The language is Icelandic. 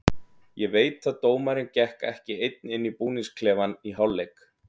Ég veit að dómarinn gekk ekki einn inn í búningsklefann í hálfleik.